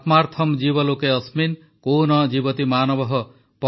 ଆତ୍ମାର୍ଥମ୍ ଜୀବ ଲୋକେ ଅସ୍ମିନ୍ କୋ ନ ଜୀବତି ମାନବଃ